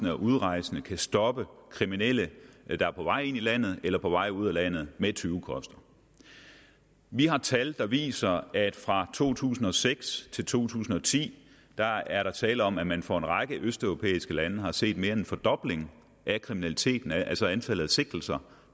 og udrejse kan stoppe kriminelle der er på vej ind i landet eller på vej ud af landet med tyvekoster vi har tal der viser at fra to tusind og seks til to tusind og ti er der tale om at man for en række østeuropæiske landes vedkommende har set mere end en fordobling af kriminaliteten altså af antallet af sigtelser